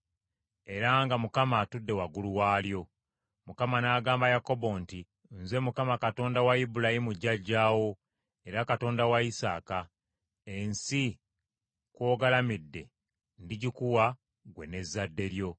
era nga Mukama atudde waggulu waalyo. Mukama n’agamba Yakobo nti, “Nze Mukama Katonda wa Ibulayimu jjajjaawo, era Katonda wa Isaaka; ensi kw’ogalamidde ndigikuwa ggwe n’ezzadde lyo.